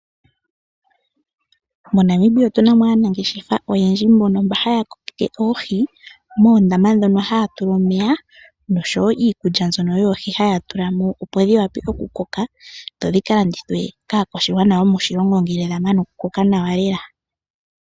MoNamibia otu na mo aanangeshefa oyendji mbono haya kokeke oohi moondama mona haya tulamo omeya nosho wo iikulya mbyono yoohi haya tulamo opo dhi wape okukoka dho dhi kaladithwe kaa kwashigwana yomoshilongo ngele dha mana okukoka nawa lela.